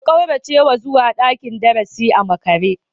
Ka kauracewa zuwa dakin darasi a makare?